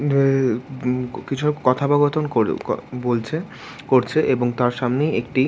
যে কিসব কথপকথন ক-ক-বলছে করছে এবং তার সামনে একটি--